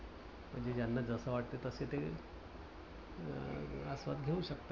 म्हणजे ज्यांना जस वाटतं तस ते अं आस्वाद घेवू शकतात.